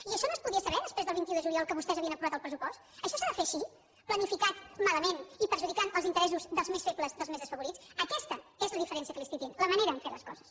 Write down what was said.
i això no es podia saber després del vint un de juliol que vostès havien aprovat el pressupost això s’ha de fer així planificat malament i perjudicant els interessos dels més febles dels més desafavorits aquesta és la diferència que li estic dient la manera de fer les coses